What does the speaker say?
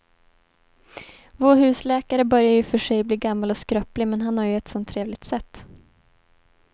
Vår husläkare börjar i och för sig bli gammal och skröplig, men han har ju ett sådant trevligt sätt!